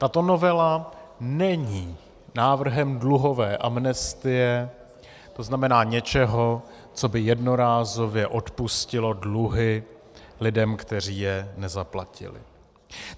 Tato novela není návrhem dluhové amnestie, to znamená něčeho, co by jednorázově odpustilo dluhy lidem, kteří je nezaplatili.